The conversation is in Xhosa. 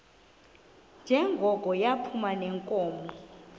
njengoko yayiphuma neenkomo